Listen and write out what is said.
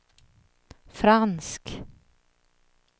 fransk